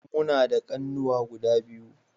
Muna da kunnuwa guda biyu